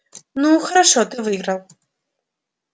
ну хорошо ты выиграл